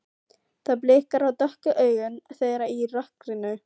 Það blikar á dökku augun þeirra í rökkrinu.